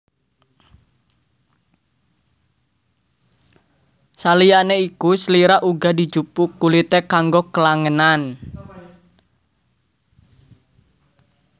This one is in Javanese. Saliyane iku slira uga dijupuk kulite kanggo klangenan